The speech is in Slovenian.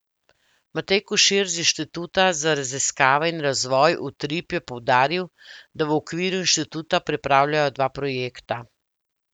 Matej Košir z Inštituta za raziskave in razvoj Utrip je poudaril, da v okviru inštituta pripravljajo dva projekta.